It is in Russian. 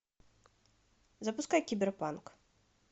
запускай киберпанк